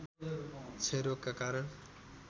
क्षयरोगका कारण